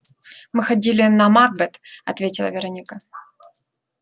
мы ходили на макбет ответила вероника